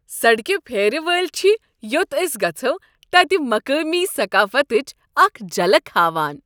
سڑکہ پھیرِ وٲلۍ چھ یوٚت ٲسۍ گژھو تتہ مقٲمی ثقافتٕچ اکھ جھلک ہاوان۔